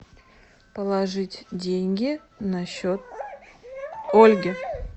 положить деньги на счет ольги